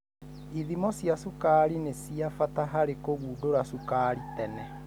Ithimo cia cukari ni cia bata harĩ kũgundũra cukari tene.